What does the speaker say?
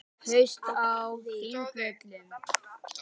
Haust á Þingvöllum.